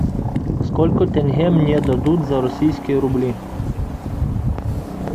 сколько тенге мне дадут за российские рубли